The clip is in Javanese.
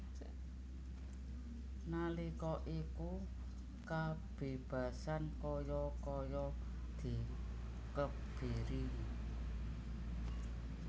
Nalika iku kabebasan kaya kaya dikebiri